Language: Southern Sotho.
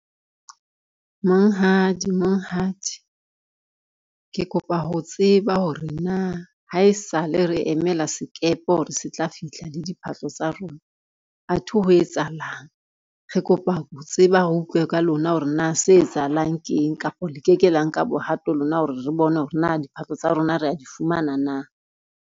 Monghadi, monghadi ke kopa ho tseba hore na ha e sa le re emela sekepe hore se tla fihla le diphahlo tsa rona. Athe ho etsahalang, re kopa ho tseba re utlwe ka lona hore na se etsahalang ke eng, kapa le ke ke la nka bohato lona hore re bone hore na diphahlo tsa rona rea di fumana na.